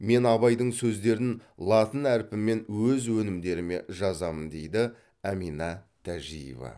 мен абайдың сөздерін латын әрпімен өз өнімдеріме жазамын дейді әмина тәжиева